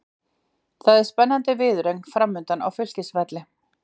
Það er spennandi viðureign framundan á Fylkisvelli.